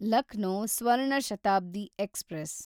Lucknow Swarna Shatabdi express